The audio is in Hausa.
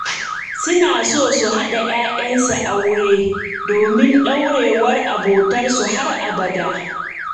Suna so su haɗa 'ya'yansu aure domin ɗorewar abotarsu har abada.